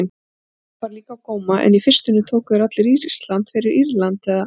Ísland bar líka á góma- en í fyrstunni tóku þeir allir Ísland fyrir Írland eða